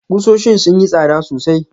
Kusoshin sun yi tsada sosai.